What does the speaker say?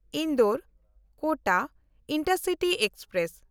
ᱤᱱᱫᱳᱨ-ᱠᱳᱴᱟ intercity express